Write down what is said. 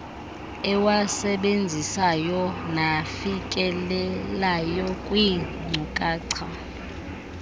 ewasebenzisayo nafikelelayo kwiinkcukacha